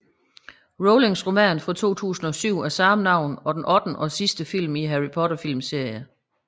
Rowlings roman fra 2007 af samme navn og den ottende og sidste film i Harry Potter filmserien